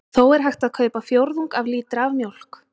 Þó er hægt að kaupa fjórðung af lítra af mjólk.